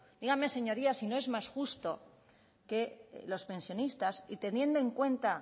díganme señorías si no es más justo que los pensionistas y teniendo en cuenta